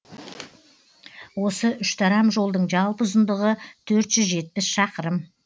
осы үштарам жолдың жалпы ұзындығы төрт жүз жетпіс шақырым